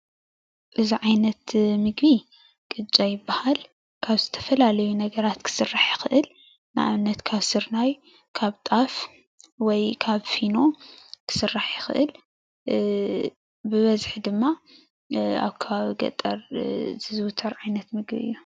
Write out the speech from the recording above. እዚ ዓይነት ምግቢ ቅጫ ይበሃል። ካብ ዝተፈላለዩ ነገራት ክስራሕ ይክእል ንአብነት ካብ ስርናይ ካብ ጣፍ ወይ ካብ ፊኖ ክስራሕ ይክእል ብበዚሒ ድማ አብ ከባቢ ገጠር ዝዝዉተር ዓይነት ምግቢ አዩ፡፡